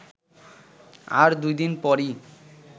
আর দুদিন পরই